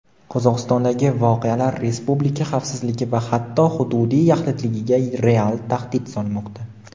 Qozog‘istondagi voqealar respublika xavfsizligi va hatto hududiy yaxlitligiga real tahdid solmoqda.